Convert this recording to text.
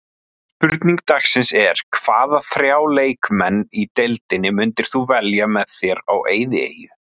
Spurning dagsins er: Hvaða þrjá leikmenn í deildinni myndir þú velja með þér á eyðieyju?